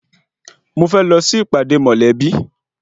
Mo fẹ́ lọ sí ìpàdé mọ̀lẹ́bí wa.